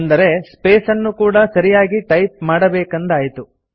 ಅಂದರೆ ಸ್ಪೇಸ್ ಅನ್ನು ಕೂಡಾ ಸರಿಯಾಗಿ ಟೈಪ್ ಮಾಡಬೇಕೆಂದಾಯಿತು